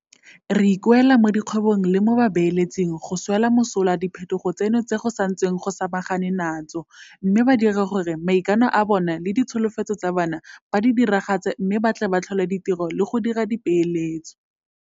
Re ikuela mo dikgwebong le mo babeeletsing go swela mosola diphetogo tseno tse go santsweng go samaganwe natso mme ba dire gore maikano a bona le ditsholofetso tsa bona ba di diragatse mme ba tle ba tlhole ditiro le go dira dipeeletso.